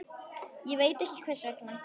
Ekki veit ég hvers vegna.